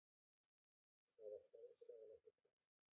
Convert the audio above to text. Það var hráslagalegt og kalt